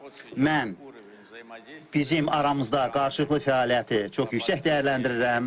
Mən bizim aramızda qarşılıqlı fəaliyyəti çox yüksək dəyərləndirirəm.